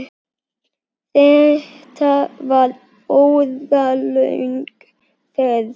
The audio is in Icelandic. Þetta var óralöng ferð.